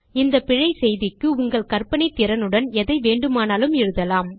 இந்த பிழை செய்திக்கு உங்கள் கற்பனை திறனுடன் எதை வேண்டுமானாலூம் எழுதலாம்